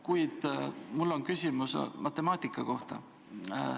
Kuid mul on küsimus matemaatika kohta.